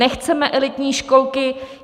Nechceme elitní školky.